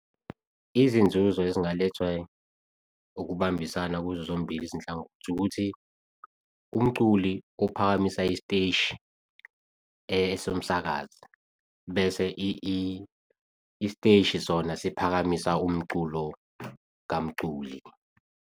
Izinzuzo ezingalethwa ukubambisana kuzo zombili izinhlangothi, ukuthi umculi uphakamisa isiteshi somsakazi, bese isiteshi sona siphakamisa umculo kamculi.